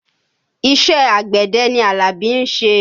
Iṣẹ́ àgbẹ̀dẹ ni Àlàbí ń ṣe